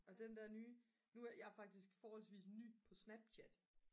og den der nye jeg er faktisk forholdsvis ny på snapchat